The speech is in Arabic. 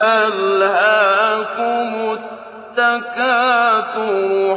أَلْهَاكُمُ التَّكَاثُرُ